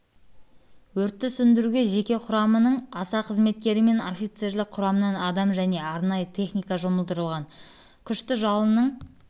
өртті сөндіруге жеке құрамының аса қызметкері мен офицерлік құрамнан адам және арнайы техника жұмылдырылған күшті жалынның